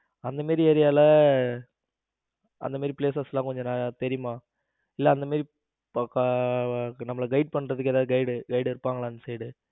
அந்த மாதிரி ஏரியால அந்த மாதிரி places எல்லாம் கொஞ்சம் தெரியுமா? இல்ல அந்த மாதிரி நம்மள Guide பண்றதுக்கு guide யாரும் இருப்பாங்களா?